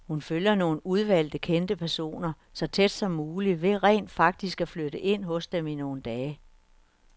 Hun følger nogle udvalgte kendte personer så tæt som muligt ved rent faktisk at flytte ind hos dem i nogle dage.